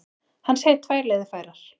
Hann segir tvær leiðir færar.